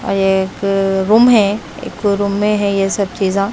एक रूम है एक रूम में है ये सब चीजआ--